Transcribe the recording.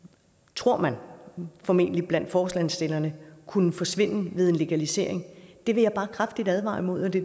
tror man formentlig blandt forslagsstillerne kunne forsvinde ved legalisering vil jeg bare kraftigt advare imod det